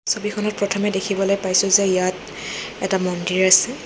ছবিখনত প্ৰথমে দেখিবলৈ পাইছোঁ যে ইয়াত এটা মন্দিৰ আছে।